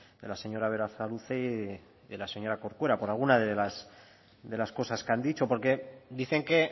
de la señora berasaluze y de la señora corcuera por alguna de las cosas que han dicho porque dicen que